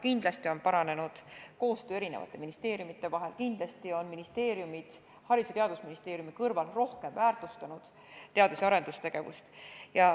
Kindlasti on paranenud koostöö eri ministeeriumide vahel, kindlasti on ministeeriumid Haridus- ja Teadusministeeriumi kõrval rohkem väärtustanud teadus- ja arendustegevust.